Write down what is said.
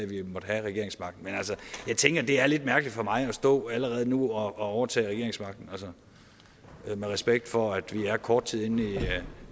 vi måtte have regeringsmagten men jeg tænker at det er lidt mærkeligt for mig at stå allerede nu og overtage regeringsmagten med respekt for at vi er kort tid inde i